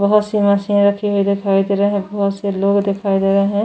बहुत सी मशीन रखे हुए दिखाई दे रहे हैं बहुत से लोग दिखाई दे रहे हैं।